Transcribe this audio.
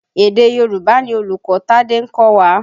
Èdè Yorùbá ni olùkọ́ Tádé ń kọ́wa.